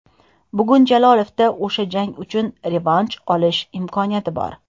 Bugun Jalolovda o‘sha jang uchun revansh olish imkoniyati bor.